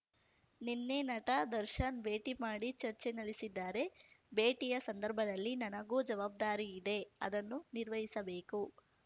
ನಿನ್ನೆ ನಟ ದರ್ಶನ್ ಭೇಟಿ ಮಾಡಿ ಚರ್ಚೆ ನಡೆಸಿದ್ದಾರೆ ಭೇಟಿಯ ಸಂದರ್ಭದಲ್ಲಿ ನನಗೂ ಜವಾಬ್ದಾರಿಯಿದೆ ಅದನ್ನು ನಿರ್ವಹಿಸಬೇಕು